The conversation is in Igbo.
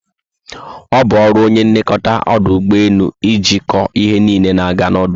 Obu ọrụ onye nlekọta ọdụ ụgbọelu ichiko ihe niile na aga na ọdụ ugbọelu